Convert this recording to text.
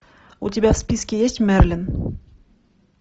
у тебя в списке есть мерлин